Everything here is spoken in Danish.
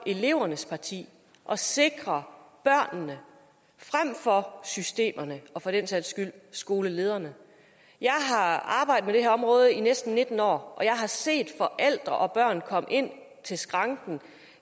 elevernes parti og sikrer børnene frem for systemerne og for den sags skyld skolelederne jeg har arbejdet med det her område i næsten nitten år og jeg har set forældre og børn komme ind til skranken